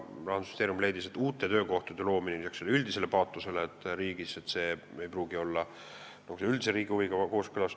Rahandusministeerium leidis, et uute töökohtade loomine ei pruugi olla riigi üldise huviga kooskõlas.